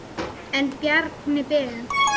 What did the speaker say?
En Bjarni Ben.